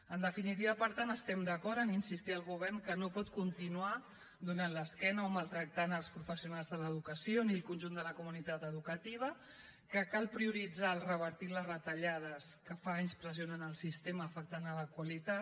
en definitiva per tant estem d’acord a insistir al govern que no pot continuar donant l’esquena o maltractant els professionals de l’educació ni el conjunt de la comunitat educativa que cal prioritzar el fet de revertir les retallades que fa anys que pressionen el sistema i que afecten a la qualitat